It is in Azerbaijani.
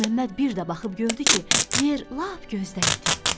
Məlik Məmməd bir də baxıb gördü ki, yer lap gözdən itib.